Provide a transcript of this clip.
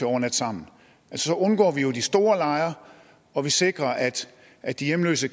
overnatte sammen så undgår vi jo de store lejre og vi sikrer at at de hjemløse